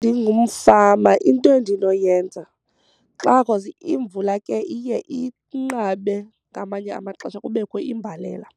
Ndingumfama into endinoyenza xa cause imvula ke iye inqabe ngamanye amaxesha kubekho imbalela,